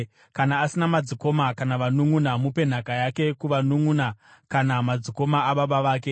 Kana asina madzikoma kana vanunʼuna, mupe nhaka yake kuvanunʼuna kana madzikoma ababa vake.